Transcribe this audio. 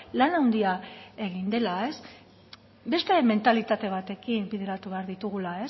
lan handia egin dela beste mentalitate batekin bideratu behar ditugula